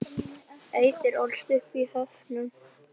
Auður ólst upp í Höfnum.